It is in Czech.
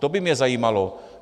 To by mě zajímalo.